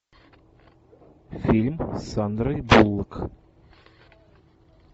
фильм с сандрой буллок